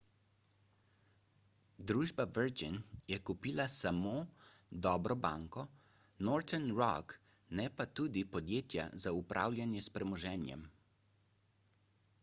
družba virgin je kupila samo »dobro banko« northern rock ne pa tudi podjetja za upravljanje s premoženjem